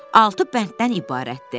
Altı bənddən ibarətdir.